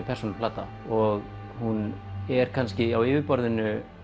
persónuleg plata og hún er kannski á yfirborðinu